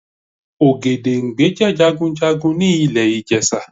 Ògèdèngbé jẹ́ Jagunjagun ni ilè Ìjẹ̀ṣà